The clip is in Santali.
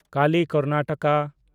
ᱠᱟᱞᱤ - ᱠᱟᱨᱱᱟᱴᱟᱠᱟ